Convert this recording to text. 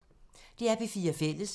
DR P4 Fælles